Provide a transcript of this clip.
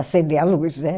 Acender a luz, né?